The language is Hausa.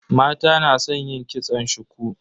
Mata na san yin kitson shuku.